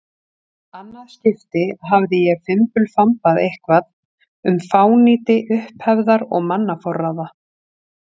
annað skipti hafði ég fimbulfambað eitthvað um fánýti upphefðar og mannaforráða.